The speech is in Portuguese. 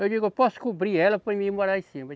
Eu digo, eu posso cobrir ela para mim morar em cima.